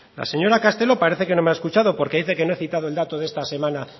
la señora castelo parece que no me ha escuchado porque dice que no he citado el dato de esta semana